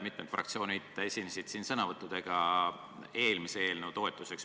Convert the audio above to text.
Mitmed fraktsioonid esinesid sõnavõttudega eelmise eelnõu toetuseks.